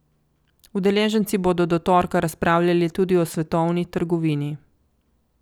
Udeleženci bodo do torka razpravljali tudi o svetovni trgovini.